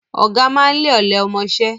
Ọ̀gá máa ń lé ọ̀lẹ ọmọṣẹ́